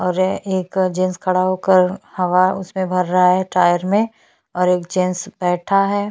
और एक जेन्स खड़ा होकर हवा उस पे भर रहा है टायर में और एक जेन्स बैठा है।